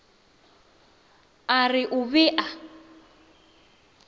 a re o be a